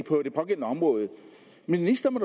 på det pågældende område ministeren